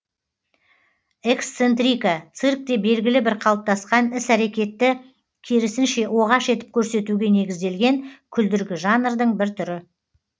эксцентрика циркте белгілі бір қалыптасқан іс әрекетті керісінше оғаш етіп көрсетуге негізделген күлдіргі жанрдың бір түрі